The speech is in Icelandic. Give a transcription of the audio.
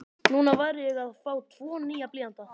Núna var ég að fá tvo nýja blýanta.